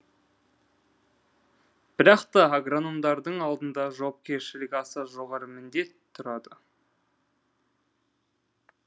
бірақта агрономдардың алдында жауапкершілігі аса жоғары міндет тұрады